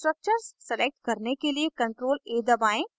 structures select करने के लिए ctrl + a दबाएं